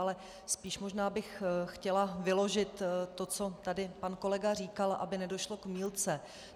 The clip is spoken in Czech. Ale spíš možná bych chtěla vyložit to, co tady pan kolega říkal, aby nedošlo k mýlce.